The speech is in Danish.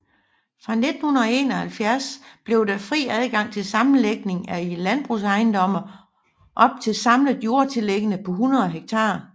Fra 1971 blev der fri adgang til sammenlægning af landbrugsejendomme op til samlet jordtillæggende på 100 ha